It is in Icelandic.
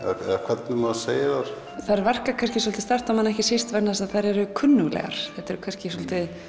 eða hvernig maður segir þær þær verka kannski svolítið sterkt á mann ekki síst því þær eru kunnuglegar þetta eru kannski svolítið